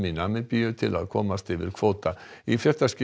Namibíu til að komast yfir kvóta í